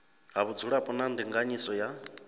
ha vhudzulapo na ndinganyiso ya